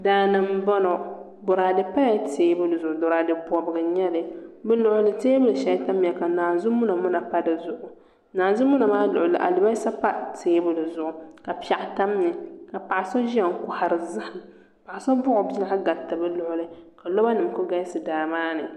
Daani n boŋo boraadɛ pala teebuli zuɣu boraadɛ bobgu n nyɛli bi luɣuli ni teebuli shɛli ʒɛya ka naanzu muna muna pa dizuɣu naanzu muna maa luɣuli ni alibarisa pa teebuli zuɣu ka piɛɣu tam ni ka paɣa so ʒiya n kohari zaham paɣa so buɣu o bia gariti bi luɣuli ka loba nim ku galisi daa maa ni